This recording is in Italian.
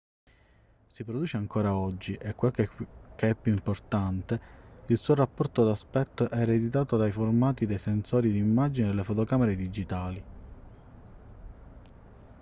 si produce ancora oggi e quel che è più importante il suo rapporto d'aspetto è ereditato dai formati dei sensori d'immagine delle fotocamere digitali